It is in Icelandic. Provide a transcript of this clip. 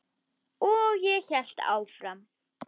Og ég hélt áfram.